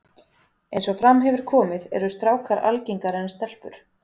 Eins og fram hefur komið eru strákar algengari en stelpur.